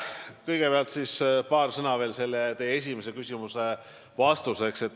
Kõigepealt paar sõna veel teie esimese küsimuse vastuseks.